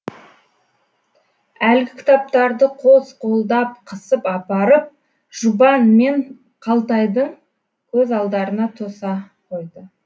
әлгі кітаптарды қос қолдап қысып апарып жұбан мен қалтайдың көз алдарына тоса қойды